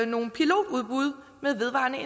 nogle pilotudbud med vedvarende